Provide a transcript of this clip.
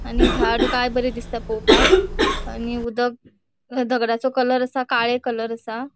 आणि झाड काय बरे दिसता पोवपाक आणि उदक हे दगडाचो कलर आसा काळे कलर असा.